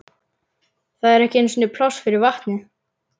Það er ekki einu sinni pláss fyrir vatnið.